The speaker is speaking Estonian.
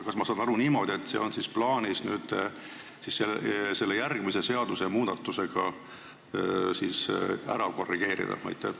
Kas ma saan õigesti aru, et see on plaanis selle seaduse järgmise muutmisega ära korrigeerida?